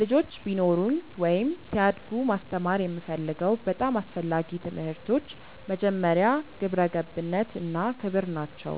ልጆች ቢኖሩኝ ወይም ሲያድጉ ማስተማር የምፈልገው በጣም አስፈላጊ ትምህርቶች መጀመሪያ፣ ግብረ ገብነት እና ክብር ናቸው።